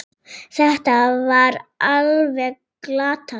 Þetta var alveg glatað.